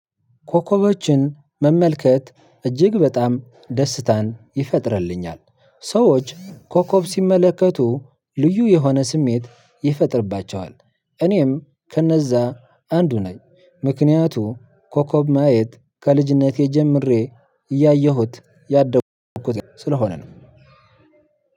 ኮኮቦችን መመልከት እጅግ በጣም ደስታን ይፈጥርልኛል ሰዎች ኮኮብ ሲመለከቱ ልዩ የሆነ ስሜት ይፈጥርባቸዋል። እኔም ከነዛ አንዱ ነኝ። ምክንያቱ ኮኮብ ማየት ከልጅነቴ ጀምሬ እያየሁት ያደኩት ስለሆነ ነው።